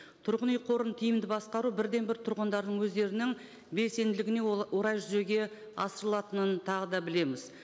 тұрғын үй қорын тиімді басқару бірден бір тұрғындардың өздерінің белсенділігіне орай жүзеге асырылатынын тағы да білеміз